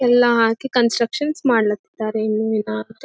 ಎಲ್ಲಾ ಹಾಕಿ ಕನ್ಸ್ಟ್ರಕ್ಷನ್ ಮಾಡ್ಲಕತ್ತರ್ ಇನ್ನು ನಿಧಾನಕ್--